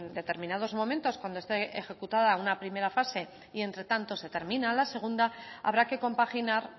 determinados momentos cuando esté ejecutada una primera fase y entre tanto se termina la segunda habrá que compaginar